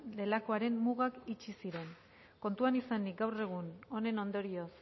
delakoaren mugak itxi ziren kontuan izanik gaur egun honen ondorioz